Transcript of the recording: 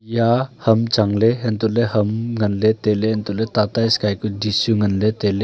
eja ham changley untohley ham nganley tailey untohley tata sky dish ku chu nganley tailey.